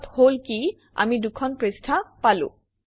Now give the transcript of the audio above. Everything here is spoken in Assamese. ফলত হল কি আমি দুখন পৃষ্ঠা পালোঁ